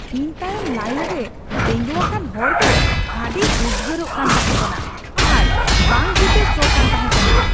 ᱤᱧ ᱛᱟᱭᱚᱢ ᱞᱟᱭᱤᱱ ᱨᱮ ᱛᱮᱸᱜᱚᱣᱟᱠᱟᱱ ᱦᱚᱲ ᱫᱚ ᱟᱹᱰᱤᱭ ᱩᱫᱜᱟᱹᱨᱚᱜ ᱠᱟᱱ ᱛᱟᱦᱮᱠᱟᱱᱟ ᱟᱨ ᱵᱟᱝ ᱡᱩᱛᱮ ᱥᱚ ᱠᱟᱱ ᱛᱟᱦᱮᱠᱟᱱᱟ ᱾